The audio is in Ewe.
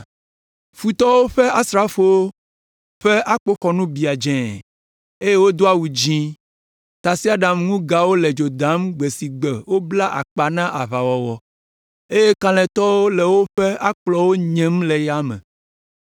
Futɔwo ƒe asrafowo ƒe akpoxɔnu biã dzẽe, eye wodo awu dzĩ. Tasiaɖamŋugawo le dzo dam gbe si gbe wobla akpa na aʋawɔwɔ, eye kalẽtɔwo le woƒe akplɔwo nyem le yame.